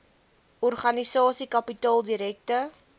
organisasie kapitaal direkte